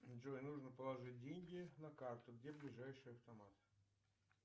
джой нужно положить деньги на карту где ближайший автомат